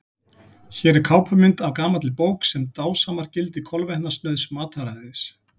Hér er kápumynd af gamalli bók sem dásamar gildi kolvetnasnauðs mataræðis.